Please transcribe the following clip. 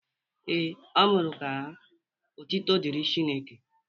Ee, ọ mụrụ ka ha. Ọtụtụ dịri Chineke.